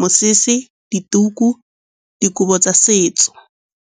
mosese, dituku, dikobo tsa setso.